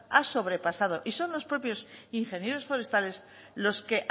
ha sobrepasado y son los propios ingenieros forestales los que